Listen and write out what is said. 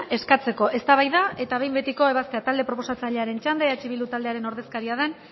eskatzeko eztabaida eta behin betiko ebazpena talde proposatzailearen txanda eh bildu taldearen ordezkaria den